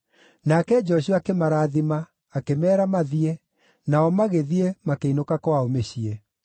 Nake Joshua akĩmarathima, akĩmeera mathiĩ, nao magĩthiĩ, makĩinũka kwao mĩciĩ.